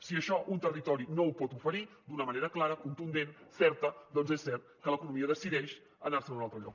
si això un territori no ho pot oferir d’una manera clara contundent certa doncs és cert que l’economia decideix anar se’n a un altre lloc